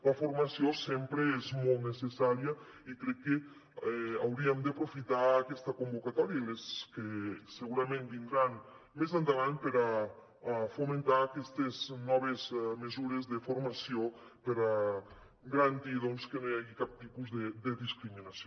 la formació sempre és molt necessària i crec que hauríem d’aprofitar aquesta convocatòria i les que segurament vindran més endavant per fomentar aquestes noves mesures de formació per garantir doncs que no hi hagi cap tipus de discriminació